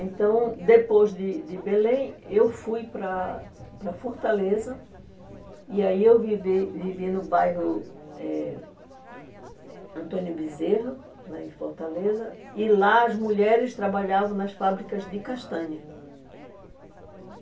Então, depois de de Belém, eu fui para para Fortaleza, e aí eu vivi vivi no bairro eh Antônio Bezerra, lá em Fortaleza, e lá as mulheres trabalhavam nas fábricas de castanha.